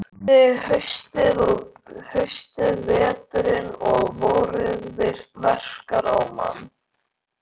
Sjá hvernig haustið, veturinn og vorið verkar á mann.